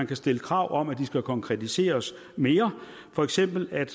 kan stilles krav om at de skal konkretiseres mere for eksempel at